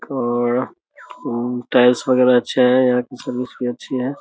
और उ टाइल्स वगैरा अच्छा हैं यहाँ की सर्विस भी अच्छी है।